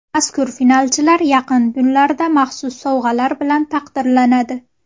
Mazkur finalchilar yaqin kunlarda maxsus sovg‘alar bilan taqdirlanadi.